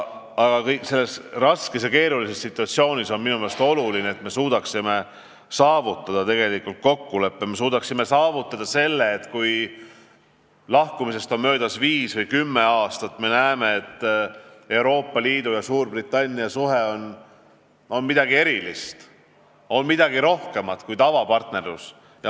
Aga selles raskes ja keerulises situatsioonis on minu meelest oluline, et me suudaksime saavutada rahuldava kokkuleppe, et me suudaksime tagada selle, et kui lahkumisest on möödas viis või kümme aastat, siis me näeme, et Euroopa Liidu ja Suurbritannia suhted on midagi erilist, on midagi rohkemat kui tavapartnerlus.